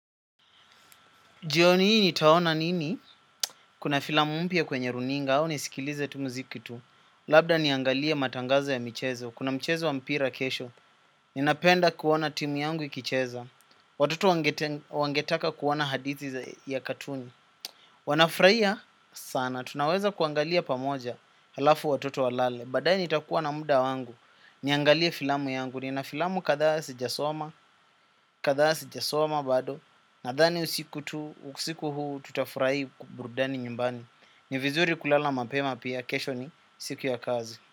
Jioni ii nitaona nini? Kuna filamu mpya kwenye runinga au nisikilize tu muziki tu. Labda niangalie matangazo ya michezo. Kuna mchezo wa mpira kesho. Ninapenda kuona timu yangu ikicheza. Watoto wangetaka kuona hadithi ya katuni. Wanafraia sana, tunaweza kuangalia pamoja halafu watoto walale. Baadae nitakuwa na mda wangu, niangalie filamu yangu. Nina filamu kathaa sijasoma, kathaa sijasoma bado. Nadhani usiku tu, usiku huu tutafrai ku burudani nyumbani. Ni vizuri kulala mapema pia, kesho ni siku ya kazi.